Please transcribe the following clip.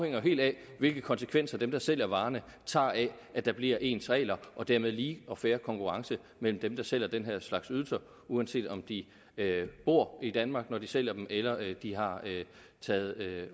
jo helt af hvilke konsekvenser dem der sælger varerne tager af at der bliver ens regler og dermed lige og fair konkurrence mellem dem der sælger den her slags ydelser uanset om de bor i danmark når de sælger dem eller de har